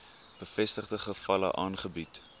bevestigde gevalle aangebied